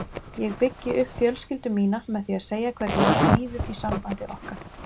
Ég byggi upp fjölskyldu mína með því að segja hvernig mér líður í sambandi okkar.